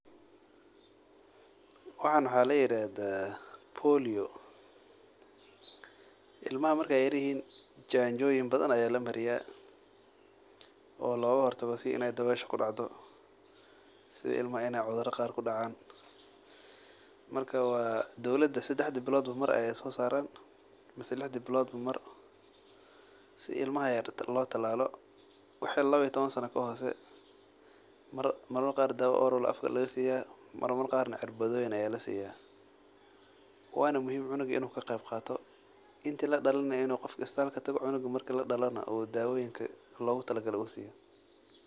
Waxan waxa layiraxdaa, polio, ilmaxaa markay yarhiyin janjoyin badan aya lamariyaa, oo logaxortago sidii inay dawesha kudacdo, sidii ilmaha inay cudura qaar kudacan, marka wa dowlada sadexda bilod mar ayay sosaran, sadexda bilod ba mar , sidii ilmaha lotalalo, waxa lawa iyo tawan saana kaxosee, mar marmar qar daawa oral aya afka lagasiya, mar marka qar nah cirbadoyin aya lasiyaa, wana muxiim cunuga inu kagebgato, inti ladalin nah in gofka istalka tago oo cunuga marki ladalonax dawoyinka logutalagale lasiyo.